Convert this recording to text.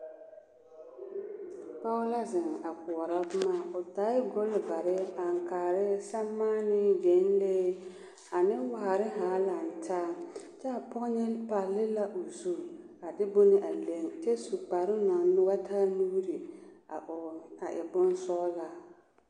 Pɔge la zeŋ a koɔrɔ boma o taaɛ golvare aŋkaare sɛremaane gyenlee ane waare zaa laŋ taa kyɛ a pɔge nyɛ palli la o zu a de bon a leŋ kyɛ su kparoŋ naŋ wa taa nuuri a hɔɔle a e bonsɔglaa.